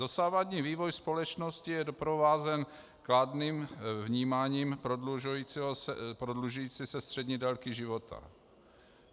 Dosavadní vývoj společnosti je doprovázen kladným vnímáním prodlužující se střední délky života.